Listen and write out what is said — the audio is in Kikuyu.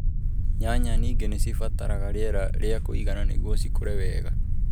Nyanya ningĩ nĩcibataraga rĩera rĩa kũigana nĩguo cikũre wega